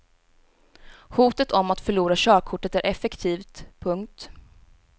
Hotet om att förlora körkortet är effektivt. punkt